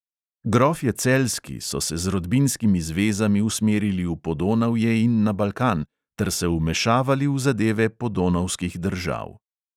Grofje celjski so se z rodbinskimi zvezami usmerili v podonavje in na balkan ter se vmešavali v zadeve podonavskih držav.